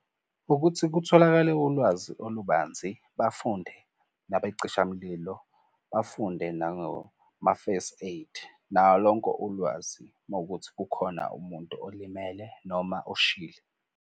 Ukuthi kutholakale ulwazi olubanzi, bafunde nabey'cishamlilo, bafunde nangoma-first aid. Nalonko ulwazi uma kukuthi kukhona umuntu olimele noma oshile.